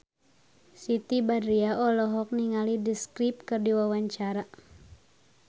Siti Badriah olohok ningali The Script keur diwawancara